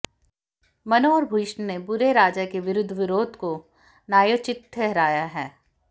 मनु और भीष्म ने बुरे राजा के विरूद्ध विरोध को न्यायोचित ठहराया है